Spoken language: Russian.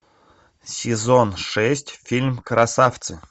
сезон шесть фильм красавцы